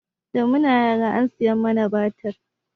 Da muna yara an saya mana batik